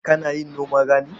Kana yin noman rani?